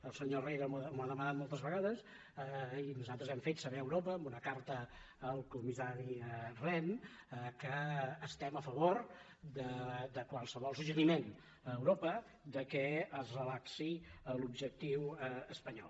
el senyor herrera m’ho ha demanat moltes vegades i nosaltres hem fet saber a europa amb una carta al comissari rehn que estem a favor de qualsevol suggeriment a europa que es relaxi l’objectiu espanyol